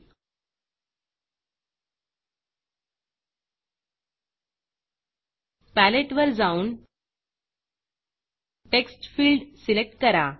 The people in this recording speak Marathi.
Paletteपॅलेट वर जाऊन टेक्स्ट Fieldटेक्स्टफील्ड सिलेक्ट करा